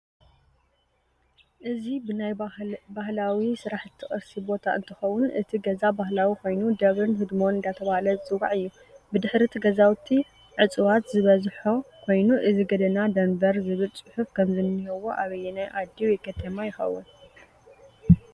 እዚ ብናይ ባህልዋ ስራሓቲ ቅርሲ ቦታ እንትከውን እቲ ገዛ ባህላዊ ኮይኑ ደብርን ሕድሞን እዳተበሃለ ዝፅዋዕ እዩ ብድሕሪ እቲ ገዛዊቲ ዕፅዋት ዝበዝሖ ኮይኑ እዚ ገደና ደንቨር ዝብል ፅሑፍ ከም ዝንህዎ ኣብይናይ ዓዲ ወይ ከተማ ይከውን?